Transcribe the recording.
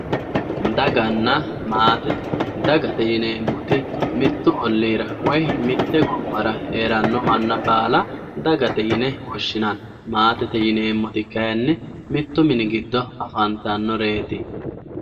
Daganna maate, dagate yineemmoti mitu ollira woyi mite gobbara heerano manna baalla dagate yinne woshshinanni maatete yineemmoti kayinni mitu mini giddonni afantanoreti.